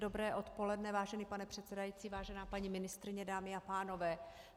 Dobré odpoledne, vážený pane předsedající, vážená paní ministryně, dámy a pánové.